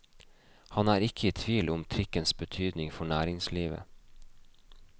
Han er ikke i tvil om trikkens betydning for næringslivet.